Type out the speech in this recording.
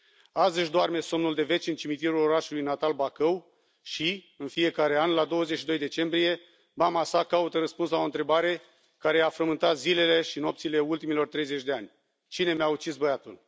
Azi își doarme somnul de veci în cimitirul orașului natal, Bacău, și, în fiecare an, la 22 decembrie, mama sa caută răspuns la o întrebare care i a frământat zilele și nopțile ultimilor 30 de ani Cine mi a ucis băiatul?